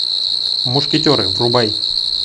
мушкетеры врубай